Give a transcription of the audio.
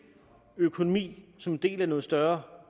økonomi som en del af noget større